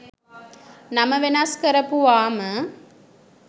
නම වෙනස් කරපුවාම